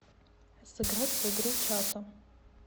сыграть в игру чато